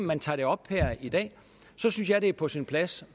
man tager det op her i dag synes jeg det er på sin plads